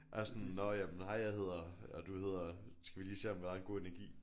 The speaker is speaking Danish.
Altså sådan nå jamen hej jeg hedder og du hedder skal vi lige se om der er en god energi?